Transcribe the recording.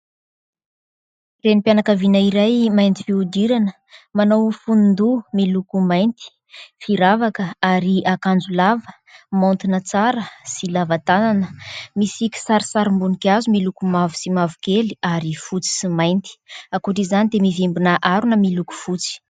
Reny mpianakaviana iray mainty fihodirana manao ho fonodoha miloko mainty, firavaka ary akanjo lava, maontina tsara sy lava tanana misy kisarisim-boninkazo miloko mavo sy mavokely ary fotsy sy mainty. Ankoatra izany dia mivimbina arona miloko fotsy.